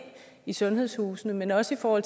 i sundhedshusene men også for at